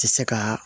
Tɛ se ka